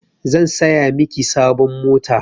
Zan saya miki sabon mota.